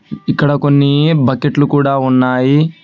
ఇక్కడ కొన్ని బకెట్లు కూడా ఉన్నాయి.